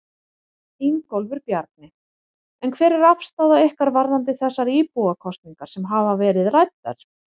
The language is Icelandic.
Ingólfur Bjarni: En hver er afstaða ykkar varðandi þessar íbúakosningar sem hafa verið ræddar?